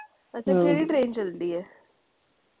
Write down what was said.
ਅੱਛਾ ਕਿਹੜੀ train ਚਲਦੀ ਹੈ?